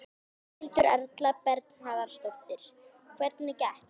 Berghildur Erla Bernharðsdóttir: Hvernig gekk?